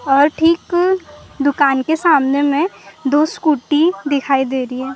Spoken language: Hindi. और ठीक दुकान के सामने में दो स्कूटी दिखाई दे रही हैं।